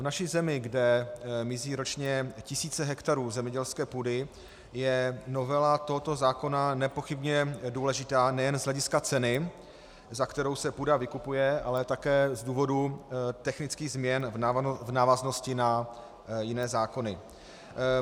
V naší zemi, kde mizí ročně tisíce hektarů zemědělské půdy, je novela tohoto zákona nepochybně důležitá nejen z hlediska ceny, za kterou se půda vykupuje, ale také z důvodu technických změn v návaznosti na jiné zákony.